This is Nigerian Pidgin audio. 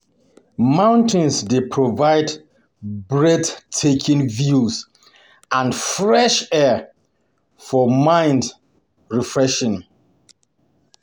Mountains dey provide breathtaking views and fresh air for mind um refreshment.